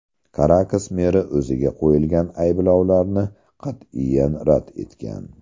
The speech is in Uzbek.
Karakas meri o‘ziga qo‘yilgan ayblovlarni qat’iyan rad etgan.